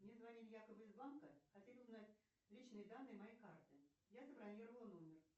мне звонили якобы из банка хотели узнать личные данные моей карты я забронировала номер